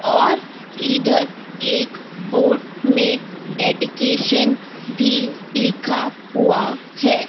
और इधर एक बोर्ड में डेडीकेशन भी लिखा हुआ है।